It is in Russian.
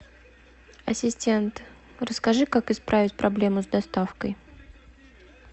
ассистент расскажи как исправить проблему с доставкой